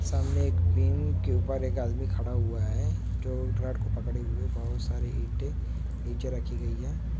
सामने एक भी के ऊपर एक आदमी खड़ा हुआ है जो विराट को पकड़े हुए बहुत सारे नीचे रखी गई है ।